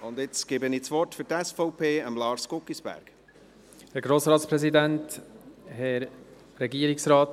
Jetzt gebe ich Lars Guggisberg für die SVP das Wort.